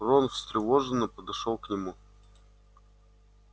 рон встревоженно подошёл к нему